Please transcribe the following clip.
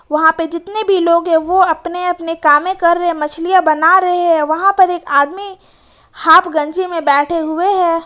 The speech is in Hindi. वहां पे जितने भी लोग हैं वो अपने अपने कामें कर रहे मछलियां बना रहे हैं वहां पर एक आदमी हाफ गंजी में बैठे हुए हैं।